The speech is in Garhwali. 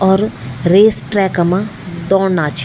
और रेस ट्रेक मा दौड़ना छि।